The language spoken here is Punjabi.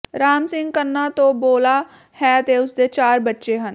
ਰਾਮ ਸਿੰਘ ਕੰਨਾ ਤੋਂ ਬੋਲਾ ਹੈ ਤੇ ਉਸਦੇ ਚਾਰ ਬੱਚੇ ਹਨ